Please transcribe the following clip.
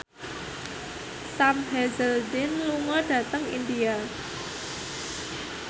Sam Hazeldine lunga dhateng India